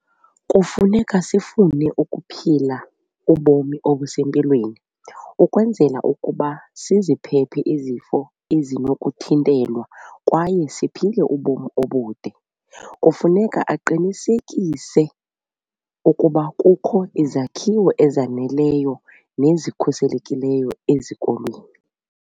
Kufuneka sifune ukuphila ubomi obusempilweni ukwenzela ukuba siziphephe izifo ezinokuthintelwa kwaye siphile ubomi obude. Kufuneka aqinisekise ukuba kukho izakhiwo ezaneleyo nezikhuselekileyo ezikolweni.